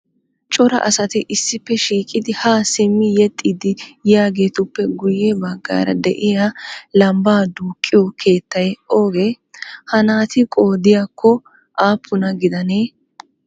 Cora asati issippe shiiqidi haa simmi yexxiiddi yoyaageetuppe guyye baggaara diya lambbaa duuqqiyo keettay oogee? Ha naati qoodayikka aappuna gidanee?